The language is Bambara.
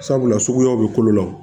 Sabula suguyaw bɛ kolo la